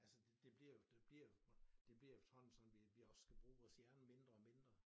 Altså det bliver jo det bliver jo det bliver jo efterhånden sådan at vi skal bruge vores hjerne mindre og mindre